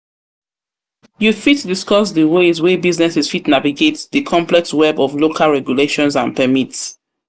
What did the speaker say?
You fit discuss di ways wey businesses fit navigate di complex web of local regulations and permits.